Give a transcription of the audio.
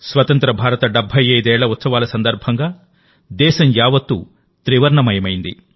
స్వతంత్రభారత 75 ఏళ్ల ఉత్సవాల సందర్భంగా దేశం యావత్తూ త్రివర్ణమయమైంది